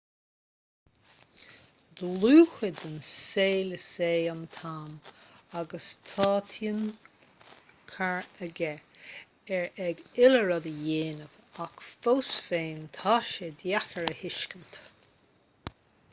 dlúthchuid den saol is ea an t-am agus tá tionchar aige ar an uile rud a dhéanaimid ach fós féin tá sé deacair a thuiscint